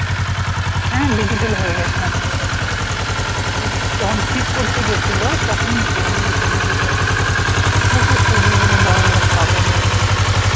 হ্যা digital হয়ে গেছে আমাদেরও। যখন ঠিক করতে গেছিলো তখন ই করে দিয়েছে digital, তখন তো সেই যেগুলো বড় বড় কাগজ ঐগুলো ছিল।